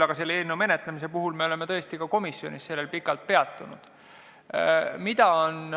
Aga seda eelnõu menetledes me oleme tõesti komisjonis sellel pikalt peatunud.